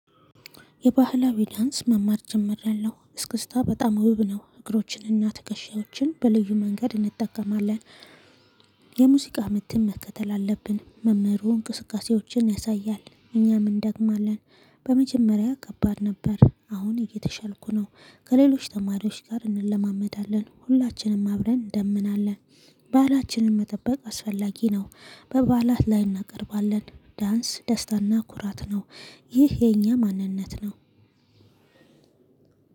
የባህላዊ ዳንስ መማር ጀሚራለው እስክስታ በጣም ውብ ነው እግሮችንና ትከሻዎችን በልዩ መንገድ እንጠቀማለን። የሙዚቃ ምትም መከተል አለብን መምህሩ እንቅስቃሴዎችን ያሳያል እኛም እንደግማለን። በመጀመሪያ ከባድ ነበር አሁን እየተሻልኩ ነው። ከሌሎች ተማሪዎች ጋር እንለማመዳለን ሁላችንም አብረን እንደምናለን። ባህላችንን መጠበቅ አስፈላጊ ነው። በበዓላት ላይ እናቀርባለን። ዳንስ ደስታና ኩራት ነው። ይህ የኛ ማንነት ነው።